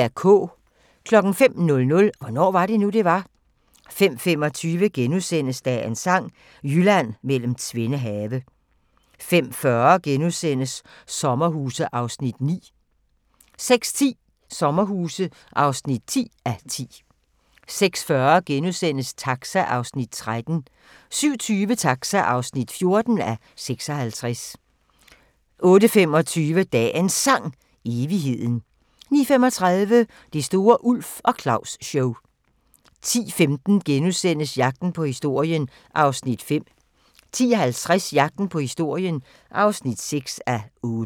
05:00: Hvornår var det nu, det var? 05:25: Dagens Sang: Jylland mellem tvende have * 05:40: Sommerhuse (9:10)* 06:10: Sommerhuse (10:10) 06:40: Taxa (13:56)* 07:20: Taxa (14:56) 08:25: Dagens Sang: Evigheden 09:35: Det store Ulf og Claus-show 10:15: Jagten på historien (5:8)* 10:50: Jagten på historien (6:8)